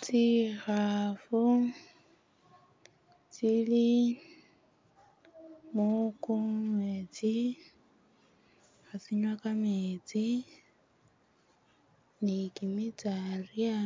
Tsikhaafu tsili muku mumeetsi, khatsinywa kametsi ni kimitsalya